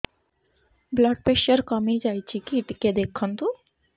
blood pressure କମି ଯାଉଛି କି ଟିକେ ଦେଖନ୍ତୁ